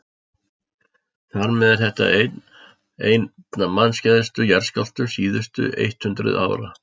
þar með er þetta einn af mannskæðustu jarðskjálftum síðustu eitt hundruð ára